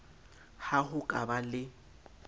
ha ho ka ba le